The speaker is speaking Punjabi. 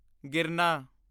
ਗਿਰਨਾ